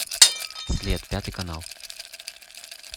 след пятый канал